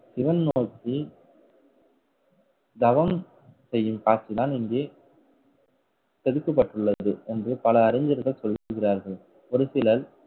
சிவன் நோக்கி தவம் செய்யும் காட்சிதான் இங்கே செதுக்கப்பட்டுள்ளது என்று பல அறிஞர்கள் சொல்கிறார்கள். ஒரு சிலர்